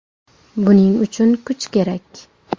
Buning uchun kuch kerak.